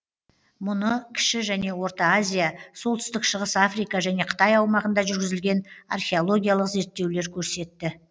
мұны кіші және орта азия солтүстік шығыс африка және қытай аумағында жүргізілген археологиялық зерттеулер көрсетті